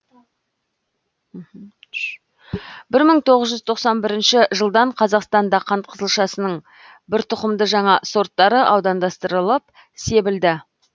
бір мың тоғыз жүз тоқсан бірінші жылдан қазақстанда қант қызылшасының бір тұқымды жаңа сорттары аудандастырылып себілді